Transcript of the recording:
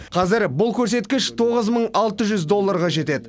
қазір бұл көрсеткіш тоғыз мың алты жүз долларға жетеді